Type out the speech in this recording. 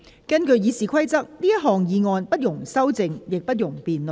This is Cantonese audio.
根據《議事規則》，這項議案不容修正，亦不容辯論。